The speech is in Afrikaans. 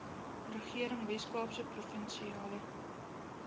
regering weskaapse provinsiale